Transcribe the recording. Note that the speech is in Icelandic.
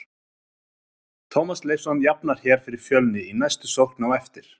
Tómas Leifsson jafnar hér fyrir Fjölni í næstu sókn á eftir!!